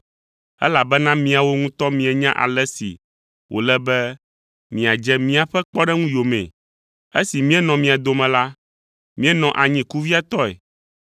Elabena miawo ŋutɔ mienya ale si wòle be miadze míaƒe kpɔɖeŋu yomee. Esi míenɔ mia dome la, míenɔ anyi kuviatɔe